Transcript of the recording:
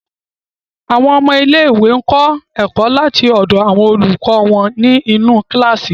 Àwọn ọmọ ilẹ̀-iwé kọ ẹkọ̀ láti ọ̀dọ̀ àwọn olùkọ wọn ni inú kíláṣí.